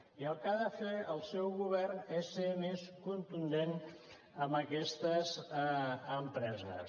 i el que ha de fer el seu govern és ser més contundent amb aquestes empreses